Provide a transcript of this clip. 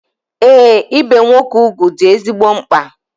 Ee, ibe nwoke ugwu dị ezigbo mkpa.